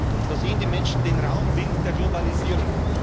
Und da sehen die Menschen den rauen Wind der Globalisierung.